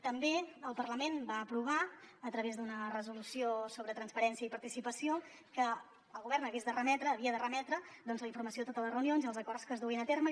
també el parlament va aprovar a través d’una resolució sobre transparència i participació que el govern havia de remetre doncs la informació de totes les reunions i els acords que es duguin a terme